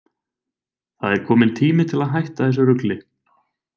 Það er kominn tími til að hætta þessu rugli!